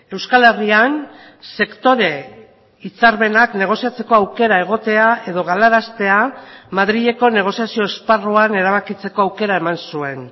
euskal herrian sektore hitzarmenak negoziatzeko aukera egotea edo galaraztea madrileko negoziazio esparruan erabakitzeko aukera eman zuen